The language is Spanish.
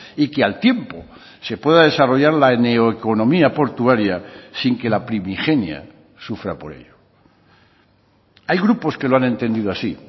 y que al tiempo se pueda desarrollar la neoeconomía portuaria sin que la primigenia sufra por ello hay grupos que lo han entendido así